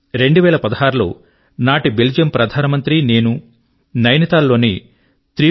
2016 లో నాటి బెల్జియమ్ ప్రధాన మంత్రి మరియు నేను నైనిటాల్ లోని 3